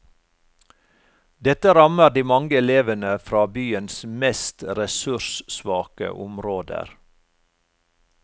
Dette rammer de mange elevene fra byens mest ressurssvake områder.